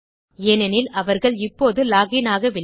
ஏனெனில் அவர்கள் இப்போது லாக் இன் ஆகவில்லை